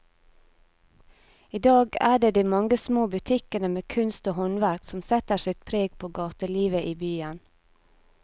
I dag er det de mange små butikkene med kunst og håndverk som setter sitt preg på gatelivet i byen.